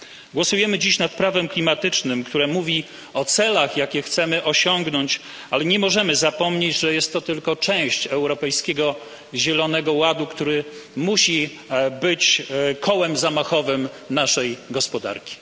Głosujemy dziś nad prawem klimatycznym, które mówi o celach, jakie chcemy osiągnąć, ale nie możemy zapomnieć, że jest to tylko część Europejskiego Zielonego Ładu, który musi być kołem zamachowym naszej gospodarki.